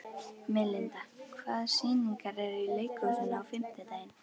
Melinda, hvaða sýningar eru í leikhúsinu á fimmtudaginn?